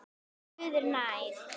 Guð er nær.